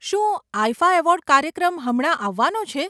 શું IIFA award કાર્યક્રમ હમણાં આવવાનો છે?